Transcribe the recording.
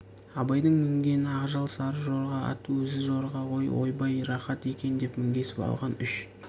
абайдың мінгені ақжал сары жорға ат өзі жорға ғой ойбай рақат екен деп мінгесіп алған үш